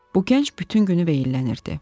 Bu gənc bütün günü veyillənirdi.